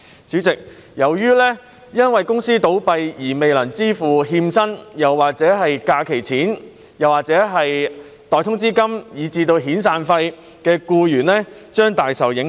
主席，由於公司倒閉而未能支付欠薪、假期薪金、代通知金以至遣散費，僱員將大受影響。